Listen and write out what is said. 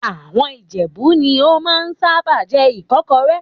Àwọn Ìjẹ̀bú ni ó máa ń sábà jẹ ìkọ́kọrẹ́